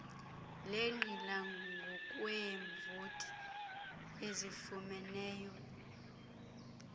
lenqila ngokweevoti ezifumeneyo